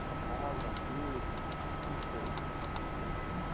sua casa aqui, como como como foi isso? Você...